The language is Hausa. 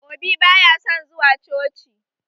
Obi baya son zuwa coci